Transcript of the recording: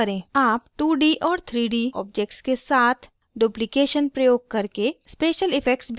आप 2d और 3d objects के साथ duplication प्रयोग करके special effects भी बना सकते हैं